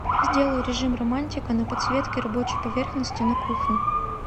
сделай режим романтика на подсветке рабочей поверхности на кухне